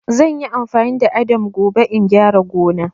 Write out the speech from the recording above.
Zan yi amfani da addam gobe in gyara gona.